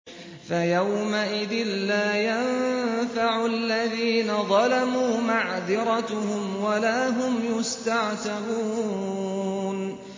فَيَوْمَئِذٍ لَّا يَنفَعُ الَّذِينَ ظَلَمُوا مَعْذِرَتُهُمْ وَلَا هُمْ يُسْتَعْتَبُونَ